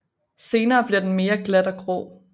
Senere bliver den mere glat og grå